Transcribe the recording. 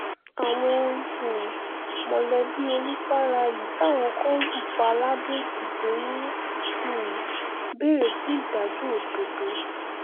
àwọn um mọ̀lẹ́bí olùfàlàyí táwọn kan lù pa ladọ-èkìtì ń um béèrè fún ìdájọ́ òdodo